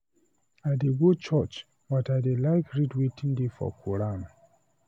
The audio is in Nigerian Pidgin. I dey go church but I like to read wetin dey for quoran